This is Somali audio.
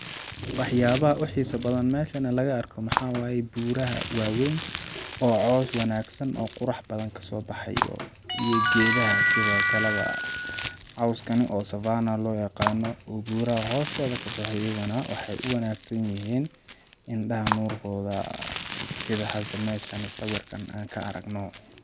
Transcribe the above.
Waxyaabaha oogu xiisa badan meshani laga arko waxaa waye buuraha waa weyn oo caws wanagsan oo qurax badan kasoo baxayo iyo geedaha sidookale ba cawskani oo savannah loo yaqaano oo buraha hostooda kaboxo iyaga nah waxay u wanagsan yihiin indhaha nuurkooda sida hada meshani sawirka aan ka aragno.